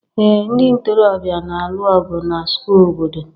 ee ndị ntorobịa na-alụ ọgụ na square obodo